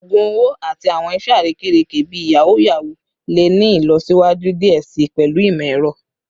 ogun owo ati awọn iṣe arekereke bii yahoo yahoo le ni ilọsiwaju diẹ sii pẹlu imọ-ẹrọ